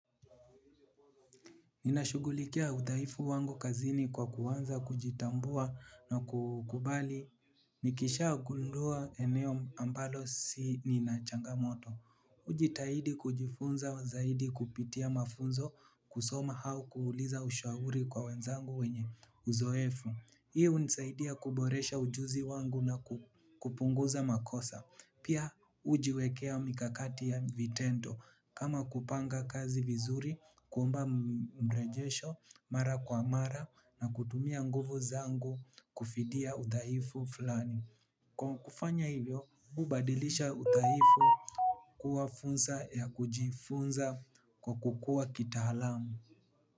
Ninashugulikia udhaifu wangu kazini kwa kuanza kujitambua na kukubali. Nikisha gundua eneo ambalo si ninachangamoto. Hujitahidi kujifunza wa zaidi kupitia mafunzo kusoma au kuuliza ushauri kwa wenzangu wenye uzoefu. Hii h lunisaidia kuboresha ujuzi wangu na kupunguza makosa. Pia hujiwekea mikakati ya vitendo kama kupanga kazi vizuri, kuomba mrejesho, mara kwa mara na kutumia nguvu zangu kufidia udhaifu fulani. Kwa kufanya hivyo, hubadilisha udhaifu kuwa fursa ya kujifunza kwa kukua kitaalamu.